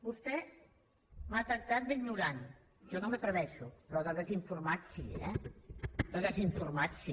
vostè m’ha tractat d’ignorant jo no m’hi atreveixo però de desinformat sí eh de desinformat sí